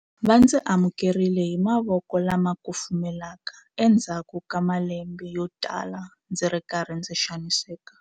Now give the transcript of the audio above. Va ndzi amukerile hi mavoko lama kufumelaka endzhaku ka malembe yotala ndzi ri karhi ndzi xaniseka.